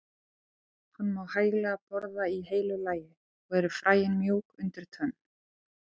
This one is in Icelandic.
Hann má hæglega borða í heilu lagi og eru fræin mjúk undir tönn.